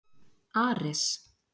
Ares